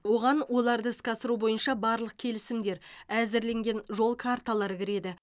оған оларды іске асыру бойынша барлық келісімдер әзірленген жол карталары кіреді